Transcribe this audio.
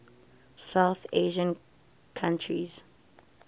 south asian countries